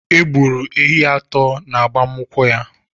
E gburu ehi atọ n’agbamnkwu ya